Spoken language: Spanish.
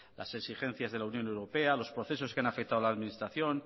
las exigencias de la unión europea los procesos que han afectado a la administración